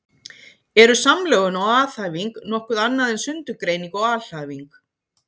Eru samlögun og aðhæfing nokkuð annað en sundurgreining og alhæfing?